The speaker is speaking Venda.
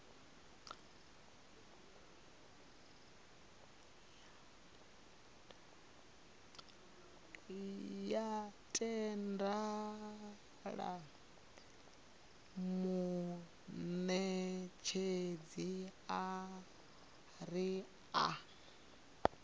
ya tendela munetshedzi uri a